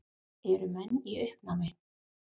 Eru menn í uppnámi?